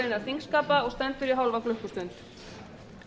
þingskapa og stendur í hálfa klukkustund